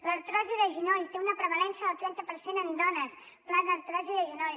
l’artrosi de genoll té una prevalença del trenta per cent en dones pla d’artrosi de genoll